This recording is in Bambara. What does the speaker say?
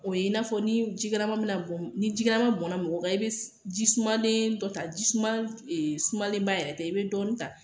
O ye i n'a fɔ ni ji kalaman bɛna bɔn ni ji kalaman bɔnna mɔgɔ kan i bɛ ji sumanen dɔ ta jiman e sumanenba yɛrɛ tɛ i bɛ dɔɔnin ta